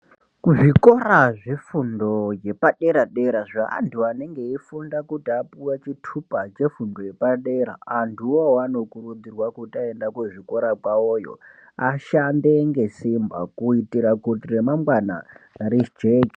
Kuzvikora zvefundo yepadera dera kuti antu anenge eifunda apuwe chitupa yepadera antuwo anokurudzirwa kuti aenda kuzvikorayo ashande ngesimba kuitira kuti remangwana Rijeke.